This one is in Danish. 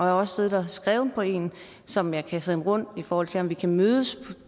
har også siddet og skrevet på en som jeg kan sende rundt for at se om vi kan mødes